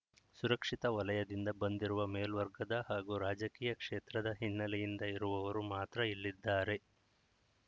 ಸುರಕ್ಷಿತ ವಲಯದಿಂದ ಬಂದಿರುವ ಮೇಲ್ವರ್ಗದ ಹಾಗೂ ರಾಜಕೀಯ ಕ್ಷೇತ್ರದ ಹಿನ್ನೆಲೆಯಿಂದ ಇರುವವರು ಮಾತ್ರ ಇಲ್ಲಿದ್ದಾರೆ